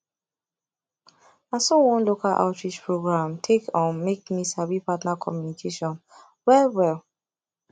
na so one local outreach program take um make me sabi partner communication well well